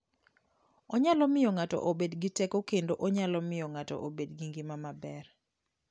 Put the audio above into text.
Onyalo miyo ng'ato obed gi teko kendo onyalo miyo ng'ato obed gi ngima maber.